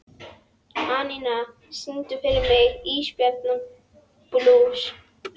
Anína, syngdu fyrir mig „Ísbjarnarblús“.